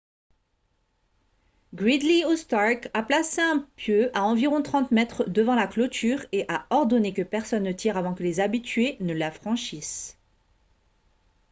gridley ou stark a placé un pieu à environ 30 mètres devant la clôture et a ordonné que personne ne tire avant que les habitués ne la franchissent